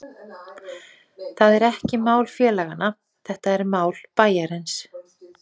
Það er ekki mál félaganna, þetta er mál bæjarins.